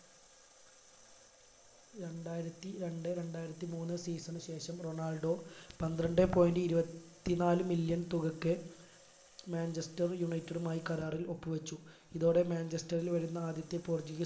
രണ്ടായിരത്തി രണ്ട് രണ്ടായിരത്തി മൂന്ന് season ശേഷം റൊണാൾഡോ പന്ത്രണ്ടേ point ഇരുപത്തിനാല് million തുകക്ക് മാഞ്ചസ്റ്റർ united മായി കരാറിൽ ഒപ്പ് വെച്ചു ഇതോടെ മാഞ്ചസ്റ്ററിൽ വരുന്ന ആദ്യത്തെ portuguese